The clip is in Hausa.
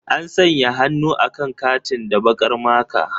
An sanya hannu akan katin da baƙar maka.